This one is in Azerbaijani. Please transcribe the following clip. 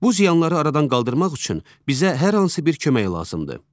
Bu ziyanları aradan qaldırmaq üçün bizə hər hansı bir kömək lazımdır.